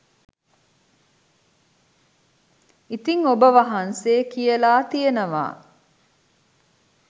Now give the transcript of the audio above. ඉතිං ඔබ වහන්සේ කියලා තියෙනවා